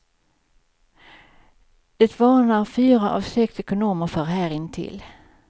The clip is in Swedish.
Det varnar fyra av sex ekonomer för här intill.